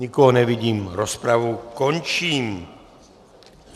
Nikoho nevidím, rozpravu končím.